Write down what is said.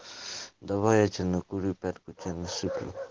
давай я тебя накурю пятку тебе насыплю